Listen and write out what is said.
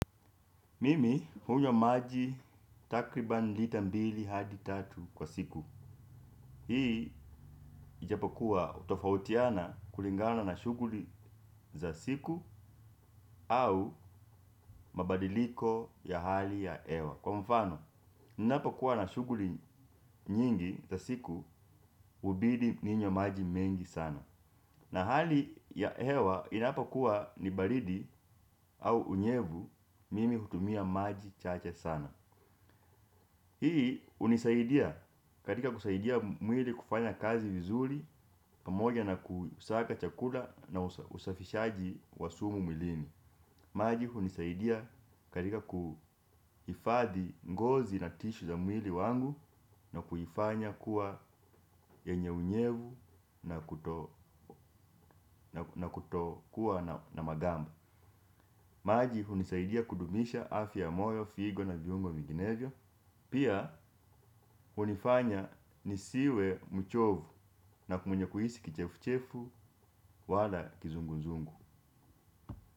Mimi hunywa maji takriban lita mbili hadi tatu kwa siku. Hii ijapokua hutofautiana kulingana na shughuli za siku au mabadiliko ya hali ya hewa. Kwa mfano, ninapokuwa na shughuli nyingi za siku hubidi ninywe maji mengi sana. Na hali ya hewa inapokuwa ni baridi au unyevu mimi hutumia maji chache sana. Hii hunisaidia katika kusaidia mwili kufanya kazi vizuri, pamoja na kusiaga chakula na usafishaji wa sumu mwilini. Maji hunisaidia katika kuhifadhi ngozi na tishu za mwili wangu na kuifanya kuwa yenye unyevu na na kutokuwa na magamba. Maji hunisaidia kudumisha afya ya moyo, figo na viungo vinginevyo. Pia, hunifanya nisiwe mchovu na kumunye kuhisi kichefu-chefu wala kizungu-nzungu.